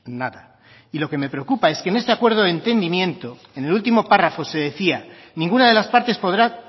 nada y lo que me preocupa es que en este acuerdo de entendimiento en el último párrafo se decía ninguna de las partes podrá